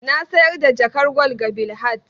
Na sayar da jakar gwal ga Bilhat.